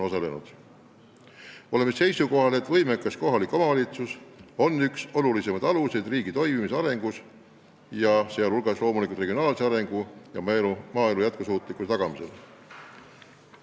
Oleme seisukohal, et võimekas kohalik omavalitsus on põhilisi riigi toimimise ja arengu aluseid, sh loomulikult regionaalse arengu ja maaelu jätkusuutlikkuse tagamisel.